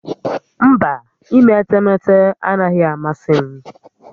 Mba, ime etemeete anaghị amasị m